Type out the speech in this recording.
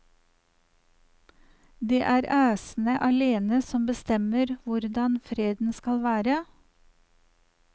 Det er æsene alene som bestemmer hvordan freden skal være.